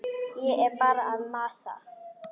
Ég er bara að masa.